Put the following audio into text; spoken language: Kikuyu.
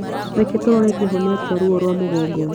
Reke tũrore kĩhonia kĩa ruo rwa mũgongo